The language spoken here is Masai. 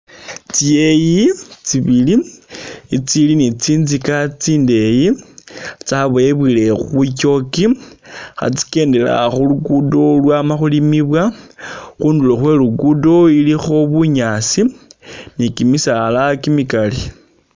Tsiyeyi tsibili itsili ni tsitsika tsindeyi tsaboyebwile khwichoki khatsikendela khu'luguddo wulwamakhulimibwa khundulo khwe'luguddo khulikho bunyaasi ni'kimisaala kimikali